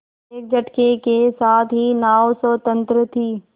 एक झटके के साथ ही नाव स्वतंत्र थी